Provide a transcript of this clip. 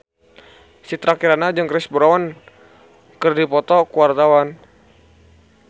Citra Kirana jeung Chris Brown keur dipoto ku wartawan